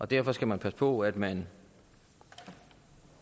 derfor skal man passe på at man